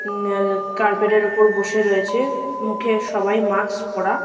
হমম এ এ কার্পেট -এর উপর বসে রয়েছে মুখে সবাই মাস্ক পরা।